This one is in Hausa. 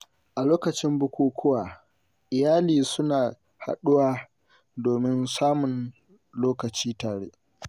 A lokacin bukukuwa, iyalai suna haɗuwa domin samun lokaci tare.